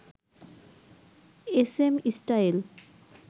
SM style